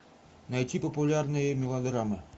найти популярные мелодрамы